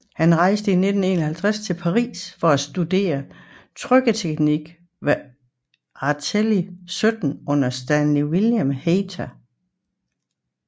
Han rejste i 1951 til Paris for at studere trykketeknik ved Atelier 17 under Stanley William Hayter